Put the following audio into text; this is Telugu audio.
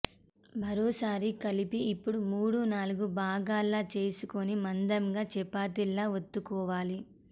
మరోసారి కలిపి ఇప్పుడు మూడు నాలుగు భాగాల్లా చేసుకుని మందంగా చపాతీల్లా వత్తుకోవాలి